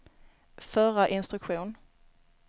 förra instruktion